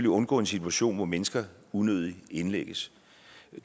undgå en situation hvor mennesker unødigt indlægges